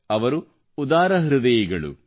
ಅವರು ಉದಾರಹೃದಯಿಗಳು